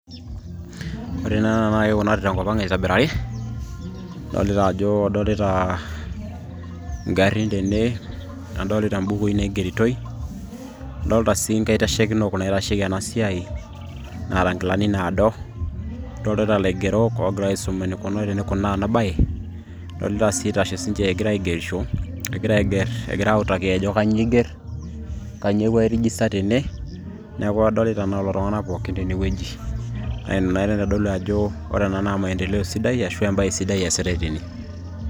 ore naa ena kikunari tenkop ang aitobirari idolita ajo idolita ingarrin tene nadolita imbukui naigeritoi adolta sii inkaitashekinok naitasheki ena siai naata nkilani nado idolitata ilaigerok oogira aisum enikunari tenikunaa ena baye idolita sii itashe sinche egira aigerisho egira aigerr egira autaki ajo kanyio eigerr kanyio epuo ai rijista tene neeku kadolita naa lelo tung'anak pookin tene wueji naa ina naa naitodolu ajo ore ina naa maendeleo sidai ashu embae sidai eesitay tene.